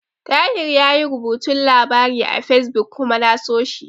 Tahir yayi rubuta labari a Fesbuk kuma na so shi.